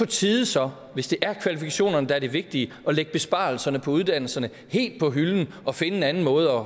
tide så hvis det er kvalifikationerne der er det vigtige at lægge besparelserne på uddannelserne helt på hylden og finde en anden måde